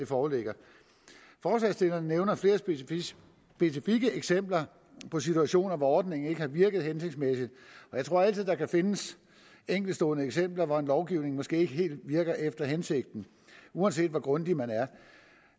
foreligger forslagsstillerne nævner flere specifikke eksempler på situationer hvor ordningen ikke har virket hensigtsmæssigt jeg tror altid der kan findes enkeltstående eksempler hvor en lovgivning måske ikke helt virker efter hensigten uanset hvor grundig man